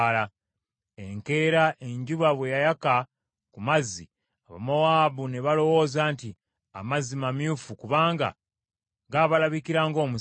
Enkeera enjuba bwe yayaka ku mazzi, Abamowaabu ne balowooza nti amazzi mamyufu kubanga gaabalabikira ng’omusaayi.